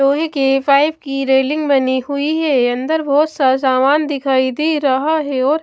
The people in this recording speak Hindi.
लोहे के पाइप की रेलिंग बनी हुई है अंदर बहुत सा सामान दिखाई दे रहा है और--